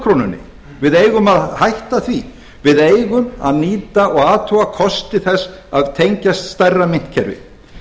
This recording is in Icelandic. flotkrónunni við eigum að hætta því við eigum að nýta og athuga kosti þess að tengjast stærra myntkerfi